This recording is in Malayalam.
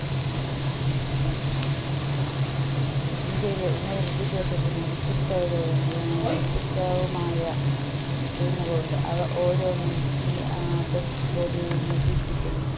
ഇന്ത്യയിലെ ഉന്നത വിദ്യാഭ്യാസത്തിന് വ്യത്യസ്തതകളും ഏർ വ്യത്യസ്തവുമായ theme കളുണ്ട് അവ ഓരോന്നും ഈ ഏർ apex board നിരീക്ഷിക്കുന്നു